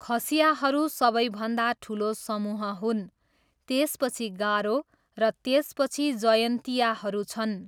खसियाहरू सबैभन्दा ठुलो समूह हुन्, त्यसपछि गारो, र त्यसपछि जयन्तियाहरू छन्।